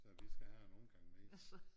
Så vi skal have en omgang mere